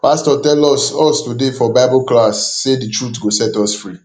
pastor tell us us today for bible class say the truth go set us free